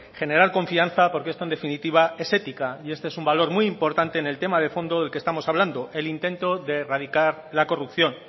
generar confianza porque esto en definitiva es ética y este es un valor muy importante en el tema de fondo del que estamos hablando el intento de erradicar la corrupción